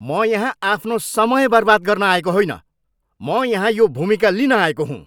म यहाँ आफ्नो समय बर्बाद गर्न आएको होइन! म यहाँ यो भूमिका लिन आएको हुँ।